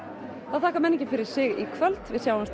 þá þakkar menningin fyrir sig í kvöld við sjáumst